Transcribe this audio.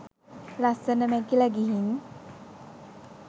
ලස්සන මැකිල ගිහින්.